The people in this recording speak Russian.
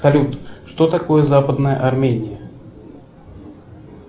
салют что такое западная армения